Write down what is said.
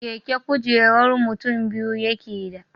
Keke kujerar mutin biyu yakeda